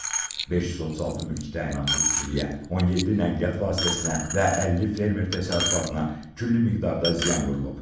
536 mülki təyinatlı tikiliyə, 17 nəqliyyat vasitəsinə və 50 fermer təsərrüfatına külli miqdarda ziyan vurulub.